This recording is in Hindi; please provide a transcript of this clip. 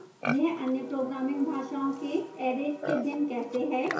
यह अन्य programming भाषाओं के arrays से भिन्न कैसे है